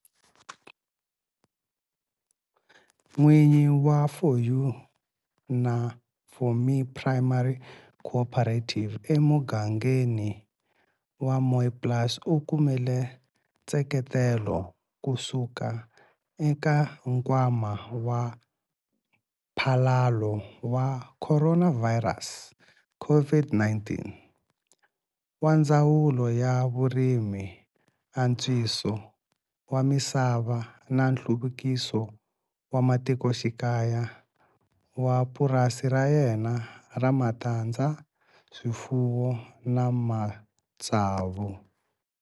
N'wini wa 4 U na 4 Me Primary Cooperative emugangeni wa Mooiplaas u kumile nseketelo kusuka eka Nkwama wa Mphalalo wa Khoronavhayirasi, COVID-19, wa Ndzawulo ya Vurimi, Antswiso wa Misava na Nhluvukiso wa Matikoxikaya wa purasi ra yena ra matandza, swifuwo na matsavu.